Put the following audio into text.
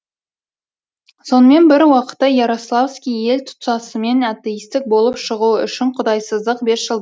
сонымен бір уақытта ярославский ел тұтасымен атеистік болып шығуы үшін құдайсыздық бесжылдығын жариялады